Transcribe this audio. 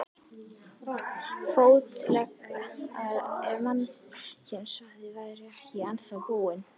Fótleggina ef mannkynssagan væri ekki ennþá búin.